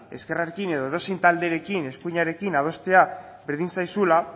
ezkerrarekin edo edozein talderekin eskuinarekin adostea berdin zaizula